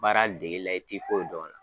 Baara degeli la i t'i foyi dɔn o la.